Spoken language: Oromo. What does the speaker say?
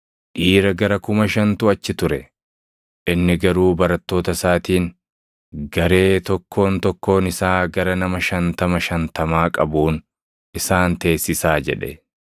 Dhiira gara kuma shantu achi ture. Inni garuu barattoota isaatiin, “Garee tokkoon tokkoon isaa gara nama shantama shantamaa qabuun isaan teessisaa” jedhe.